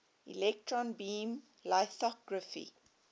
electron beam lithography